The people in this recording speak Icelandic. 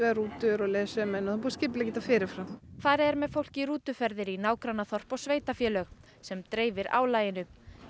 rútur og leiðsögumenn og búið að skipuleggja þetta fyrir fram farið er með fólk í rútuferðir í nágrannaþorp og sveitarfélög sem dreifir álaginu